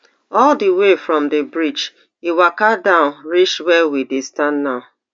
all di way from di bridge e waka down reach wia we dey stand now